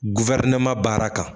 Guwɛrineman baara kan